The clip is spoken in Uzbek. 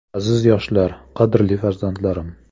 Aziz yoshlar, qadrli farzandlarim!